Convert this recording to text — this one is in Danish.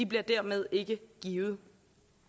bliver dermed ikke givet